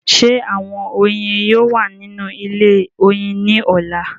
Ṣé àwọn oyin yóò wà nínú ilé oyin ní ọ̀la?